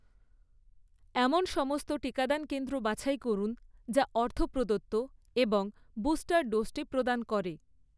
এমন সমস্ত টিকাদান কেন্দ্র বাছাই করুন যা অর্থ প্রদত্ত এবং বুস্টার ডোজটি প্রদান করে।